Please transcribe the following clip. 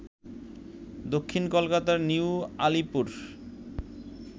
দক্ষিণ কলকাতার নিউ আলিপুর